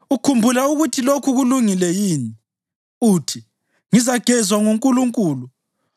“Ukhumbula ukuthi lokhu kulungile yini? Uthi, ‘Ngizagezwa nguNkulunkulu.’